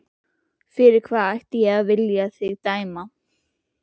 Fyrir hvað ætti ég að vilja dæma þig?